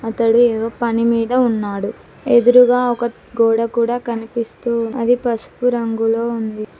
ఇతడు ఏదో పనిమీద ఉన్నాడు. ఎదురుగా ఒక గోడ కూడా కనిపిస్తూ అది పసుపు రంగులో ఉంది.